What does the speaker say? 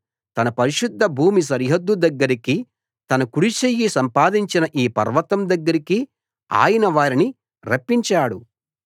తన పరిశుద్ధ భూమి సరిహద్దు దగ్గరికి తన కుడిచెయ్యి సంపాదించిన ఈ పర్వతం దగ్గరికి ఆయన వారిని రప్పించాడు